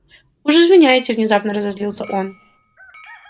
уж извиняйте внезапно разозлился он